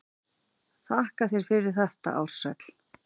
Þakka þér fyrir þetta Ársæll.